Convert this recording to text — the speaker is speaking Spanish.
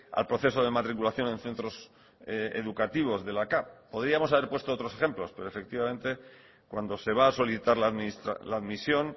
al proceso de matriculación en centros educativos de la capv podríamos haber puesto otros ejemplos pero efectivamente cuando se va a solicitar la admisión